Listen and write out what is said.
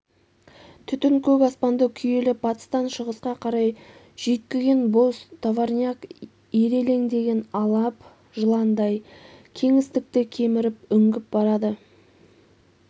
түтін көк аспанды күйелеп батыстан шығысқа қарай жүйткіген бос товарняк ирелеңдеген алып жыландай кеңістікті кеміріп үңгіп барады